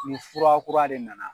Ni fura kura de na na.